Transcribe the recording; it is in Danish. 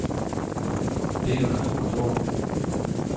Det er jo naturens orden.